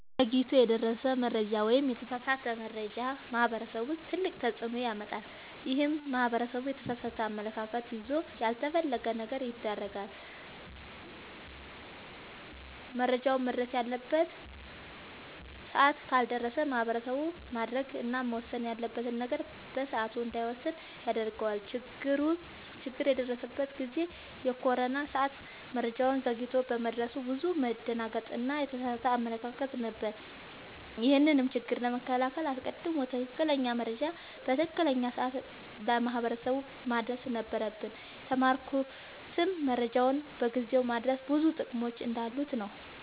ዘግይቶ የደረሰ መረጃ ወይም የተሳሳተ መረጃ ማህበረሰቡ ላይ ትልቅ ተፅዕኖ ያመጣል። ይህም ማህበረሰቡ የተሳሳተ አመለካከት ይዞ ያልተፈለገ ነገር ያደርጋል። መረጃውም መድረስ ባለበት ሰዓት ካልደረሰ ማህበረሰቡ ማድረግ እና መወሰን ያለበትን ነገር በሰዓቱ እንዳይወስን ያደርገዋል። ችግር የደረሰበት ጊዜ የኮሮና ሰዓት መረጃው ዘግይቶ በመድረሱ ብዙ መደናገጥ እና የተሳሳተ አመለካከት ነበር። ይህንንም ችግር ለመከላከል አስቀድሞ ትክክለኛ መረጃ በትክክለኛው ሰዓት ለማህበረሰቡ ማድረስ ነበረብን። የተማርኩትም መረጃን በጊዜው ማድረስ ብዙ ጥቅሞች እንዳሉት ነወ።